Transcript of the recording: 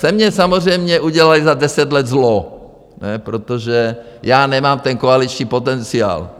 Ze mě samozřejmě udělali za deset let zlo, protože já nemám ten koaliční potenciál.